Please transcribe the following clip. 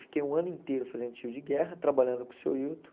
Fiquei um ano inteiro fazendo tiro de guerra, trabalhando com o seu Hilton.